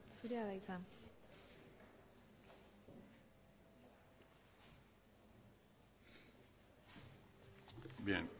zurea da hitza bien